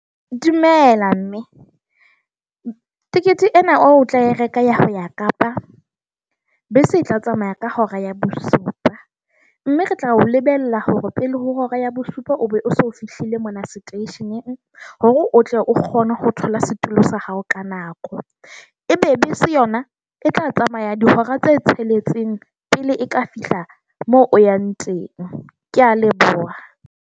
Dumela, mme. Tekete ena o tla e reka ya hao ya Kapa, bese e tla tsamaya ka hora ya bosupa. Mme re tla o lebella hore pele ho hora ya bosupa o be se fihlile mona seteisheneng, hore o tle o kgone ho thola setulo sa hao ka nako. Ebe bese yona e tla tsamaya dihora tse tsheletseng pele e ka fihla moo o yang teng. Ke a leboha.